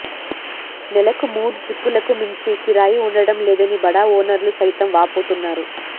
నెలకు మూడు ట్రిప్పులకు మించి కిరాయి ఉండడం లేదని బడా ఓనర్లు సైతం వాపోతున్నారు